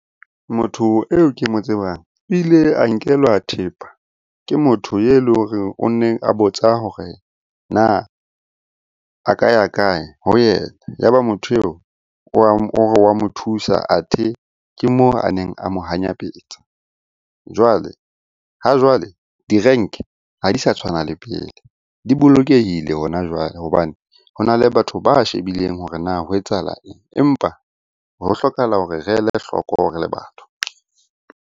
Motho eo ke mo tsebang ile a nkelwa thepa ke motho e leng hore o nne nne a botsa hore na a ka ya kae ho yena? Ya ba motho eo o wa mo thusa, athe ke mo a neng a mo hanyapetsa. Jwale ha jwale di-rank-e ha di sa tshwana le pele, di bolokehile hona jwale hobane hona le batho ba shebileng hore na ho etsahala eng? Empa ho hlokahala hore re ele hloko re le batho.